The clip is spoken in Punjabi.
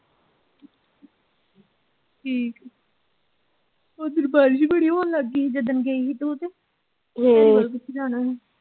ਠੀਕ ਐ ਉਧਰ ਬਾਰਿਸ਼ ਬੜੀ ਹੋਣ ਲੱਗ ਗਈ ਸੀ ਜਿੱਦਣ ਗਈ ਸੀ ਹਮ।